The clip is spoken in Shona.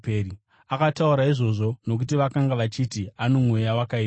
Akataura izvozvo nokuti vakanga vachiti, “Ano mweya wakaipa.”